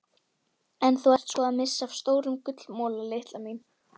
Venjulega berst mikið magn bergmylsnu fram í botnlögum jökuls sem botnurð.